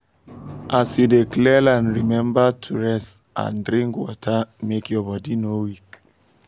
as you dey clear land remember to um rest and drink water make um your body no weak